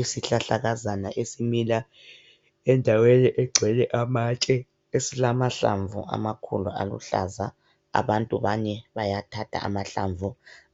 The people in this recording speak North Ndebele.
Isihlahlakazana esimila endaweni egcwele amatshe esilamahlamvu amakhulu aluhlaza. Abantu bane bayathatha amahlamvu